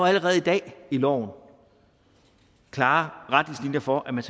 allerede i dag i loven klare retningslinjer for at man